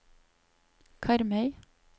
Karmøy